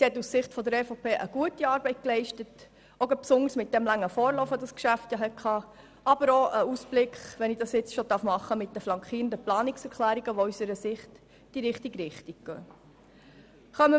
Sie hat aus Sicht der EVP mit dem langen Vorlauf dieses Geschäfts eine gute Arbeit geleistet und mit den flankierenden Planungserklärungen in die richtige Richtung gewiesen.